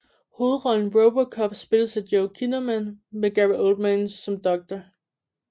Hovedrollen RoboCop spilles af Joel Kinnaman med Gary Oldman som Dr